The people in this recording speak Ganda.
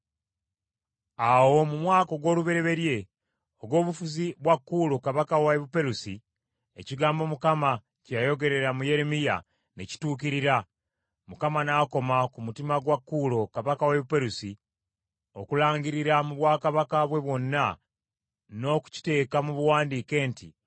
Awo mu mwaka ogw’olubereberye ogw’obufuzi bwa Kuulo kabaka wa Buperusi, ekigambo Mukama kye yayogerera mu Yeremiya ne kituukirira, Mukama n’akoma ku mutima gwa Kuulo kabaka w’e Buperusi okulangirira mu bwakabaka bwe bwonna, n’okukiteeka mu buwandiike nti,